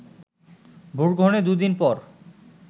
ভোটগ্রহণের দুইদিন পর